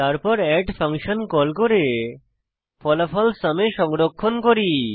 তারপর add function call করে ফলাফল সুম এ সংরক্ষণ করি